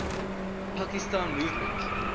pakistan movement